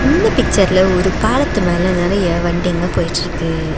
இந்த பிக்சர்ல ஒரு பாலத்து மேல நெறைய வண்டிங்க போயிட்ருக்கு.